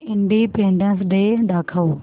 independence day दाखव